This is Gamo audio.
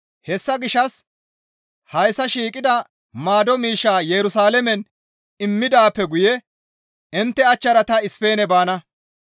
Hessa gishshas hayssa shiiqida maado miishshaa Yerusalaamen immidaappe guye intte achchara ta Ispeene baana.